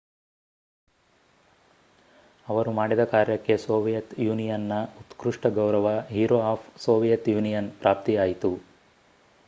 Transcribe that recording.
ಆವರು ಮಾಡಿದ ಕಾರ್ಯಕ್ಕೆ ಸೋವಿಯತ್ ಯೂನಿಯನ್‍‌ನ ಉತ್ಕ್ರುಷ್ಟ ಗೌರವ ಹೀರೋ ಆಫ್ ಸೋವಿಯತ್ ಯೂನಿಯನ್ ಪ್ರಾಪ್ತಿಯಾಯಿತು